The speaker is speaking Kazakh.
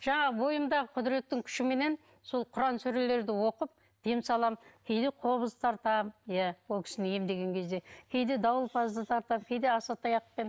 жаңағы бойымдағы құдіреттің күшіменен сол құран сүрелерді оқып дем саламын кейде қобыз тартамын иә ол кісіні емдеген кезде кейде дауылпазды тартамын кейде асатаяқпен